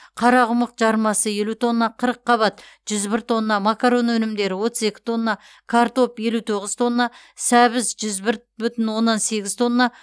қарақұмық жармасы елу тонна қырыққабат жүз бір тонна макарон өнімдері отыз екі тонна картоп елу тоғыз тонна сәбіз жүз бір бүтін оннан сегіз тонна